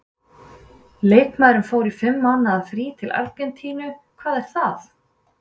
Leikmaðurinn fór í fimm mánaða frí til Argentínu- hvað er það?